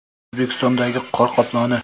O‘zbekistondagi qor qoploni.